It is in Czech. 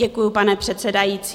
Děkuji, pane předsedající.